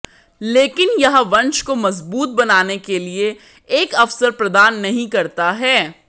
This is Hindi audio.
लेकिन यह वंश को मजबूत बनाने के लिए एक अवसर प्रदान नहीं करता है